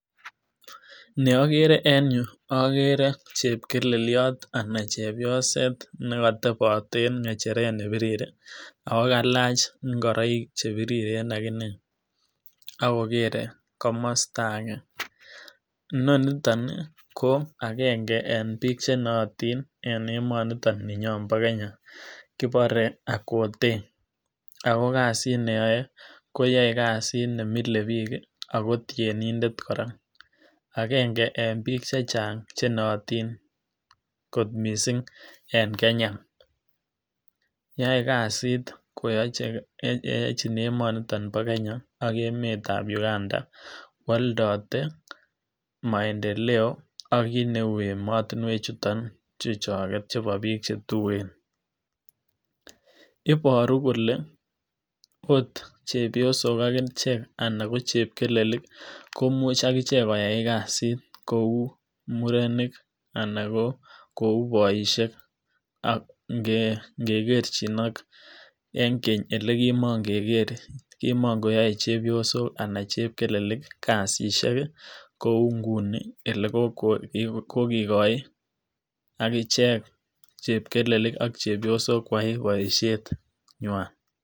Neokere en yuu okere chepkeleliot anan chebioset nekotebot en ng'echeret nebirir ak ko kalach ing'oroik chebiriren akinee ak kokere komosto akee, inoniton ko akeng'e en biik chenoyotin en emoniton bo Kenya kibore Akothe, ak ko kasiit neyoe koyoei kasit nemile biik ak ko tienindet kora, akeng'e en biik chechang chenoyotin kot mising en Kenya, yoei kasit koyochin emoniton bo Kenya ak emetab Uganda kwoldote maendeleo ak kiit neuu emotinwechuton chuchokek chubo biik chetuen, iboru kolee oot chebiosok akichek anan ko chepkelelik komuch akichek koyai kasit kouu murenik anan ko kouu boishek ak ng'ekerchin ak en keny elee kimong'ekere kimokoyoe chebiosok anan chepkelelik kasisyek kouu ng'uni elee kokikoi akichek chepkelelik ak chepiosok koyai boishenywan.